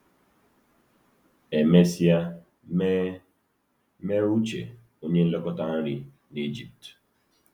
E mesịa mee mee Uche onye nlekọta nri n’Ijipt.